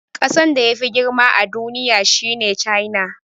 Kasan da yafi girma a duniya shine China.